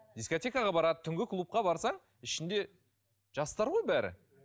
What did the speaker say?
дискотекаға барады түнгі клубка барсаң ішінде жастар ғой бәрі